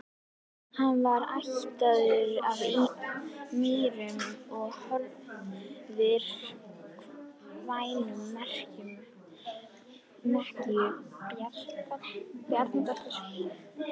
Hann var ættaður af Mýrum í Hornafirði, kvæntur Mekkínu Bjarnadóttur.